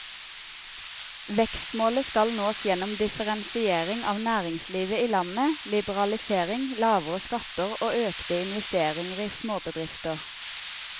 Vekstmålet skal nås gjennom differensiering av næringslivet i landet, liberalisering, lavere skatter og økte investeringer i småbedrifter.